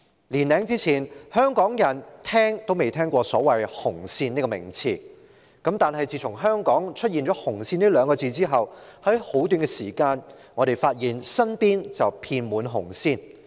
年多以前，香港人從未聽聞"紅線"這名詞，但自從香港出現"紅線"二字後，在短時間內，我們即發現身邊遍滿"紅線"。